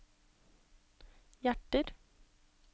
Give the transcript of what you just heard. hjerter